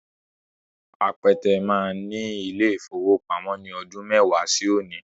Apẹtẹ máa ní ilé-ìfowópamọ́ ní ọdún mẹ́wàá sí òní